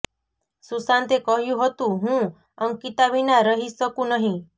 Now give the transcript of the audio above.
સુશાંતે કહ્યું હતું હું અંકિતા વિના રહી શકું નહીં